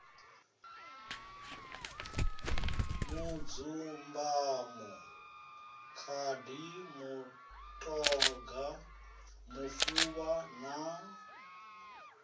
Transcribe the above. mudzumbamo khadi mutoga mufuvha na